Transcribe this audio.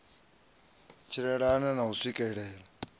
tshilela na u u swikela